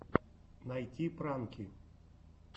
найти пранки